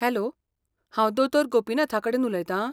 Hello, हांव दोतोर गोपिनाथाकडेन उलयतां?